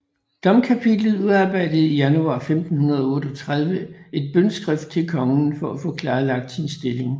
Domkapitlet udarbejde i januar 1538 et bønneskrift til kongen for at få klarlagt sin stilling